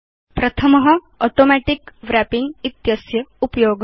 प्रथम automatic wrapping इत्यस्य उपयोग